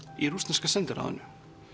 í rússneska sendiráðinu